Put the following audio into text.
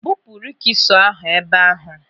Bupu rikisọ ahụ ebe ahụ!